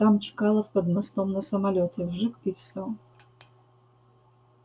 там чкалов под мостом на самолёте вжиг и всё